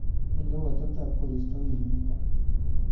Ole uu ateptap korista wikinito.